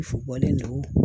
bɔlen don